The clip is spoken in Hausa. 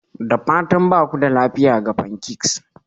Da fatan ba ku da lafiya ga pancakes?